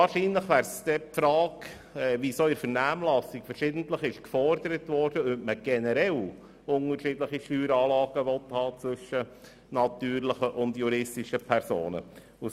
Wahrscheinlich ginge es wohl – wie in der Vernehmlassung verschiedentlich gefordert – um die Frage, ob man generell unterschiedliche Steueranlagen bei den natürlichen und den juristischen Personen haben will.